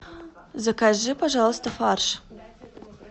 закажи пожалуйста фарш